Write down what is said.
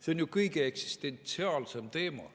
See on ju eksistentsiaalne teema.